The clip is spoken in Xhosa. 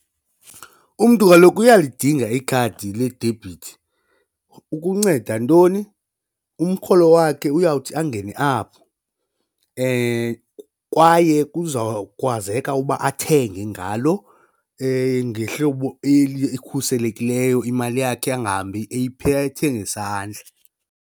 Umntu kaloku uyalidinga ikhadi ledebhithi ukunceda ntoni umrholo wakhe uyawuthi angene apho kwaye kuzawukwazeka uba athenge ngalo ngehlobo elikhuselekileyo imali yakhe angahambi eyiphethe ngesandla.